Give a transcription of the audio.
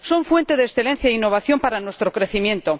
Son fuente de excelencia e innovación para nuestro crecimiento.